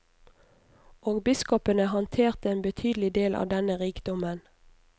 Og biskopene handterte en betydelig del av denne rikdommen.